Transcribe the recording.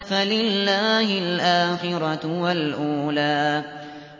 فَلِلَّهِ الْآخِرَةُ وَالْأُولَىٰ